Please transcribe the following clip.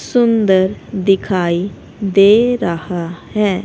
सुंदर दिखाई दे रहा है।